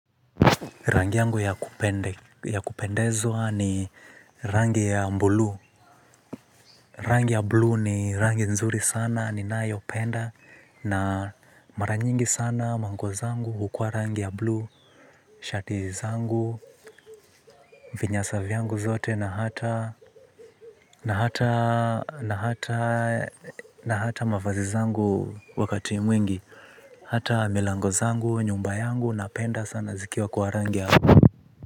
Rangi yangu ya kupendezwa ni rangi ya buluu. Rangi ya blue ni rangi nzuri sana ninayopenda. Na mara nyingi sana manguo zangu hukua rangi ya blue. Shati zangu, vinyasa vyangu zote na hata na hata mavazi zangu wakati mwingi hata milango zangu, nyumba yangu napenda sana zikiwa kwa rangi ya blue.